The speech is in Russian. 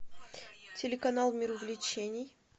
телеканал мир увлечений